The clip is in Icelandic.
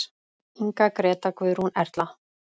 Inga, Gréta, Guðrún, Erla.